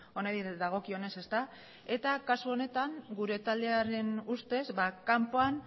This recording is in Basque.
honi dagokionez kasu honetan gure taldearen ustez kanpoan